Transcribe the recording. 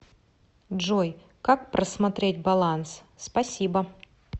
джой как просмотреть баланс спасибо